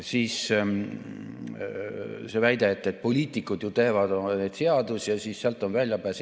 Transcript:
Siis väide, et poliitikud ju teevad seadusi ja seal on väljapääs.